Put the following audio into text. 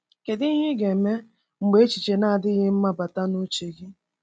Kedu ihe ị ga-eme mgbe echiche na-adịghị mma bata n’uche gị?